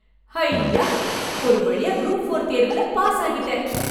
ஐயா ! ஒரு வழியா குரூப் ஃபோர் தேர்வில பாஸ் ஆகிவிட்டேன்.